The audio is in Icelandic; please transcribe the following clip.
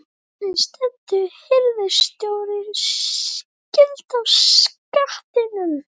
ARI STENDUR HIRÐSTJÓRA SKIL Á SKATTINUM